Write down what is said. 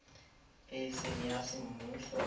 e e seng ya semmuso